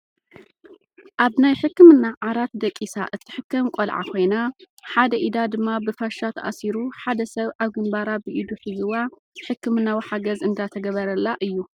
ኣብ ናይ ሕክምና ዓራት ደቂሳ እትሕከም ቆልዓ ኮይና፣ ሓደ ኢዳ ድማ ብፋሻ ተኣሲሩ ሓደ ሰብ ኣብ ግንባራ ብኢዱ ሒዝዋ ሕክምናዊ ሓገዝ እንዳተገበረላ እዩ።